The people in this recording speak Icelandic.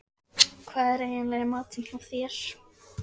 Hvað er eiginlega í matinn hjá þér?